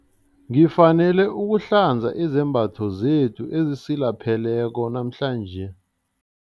Ngifanele ukuhlanza izembatho zethu ezisilapheleko namhlanje.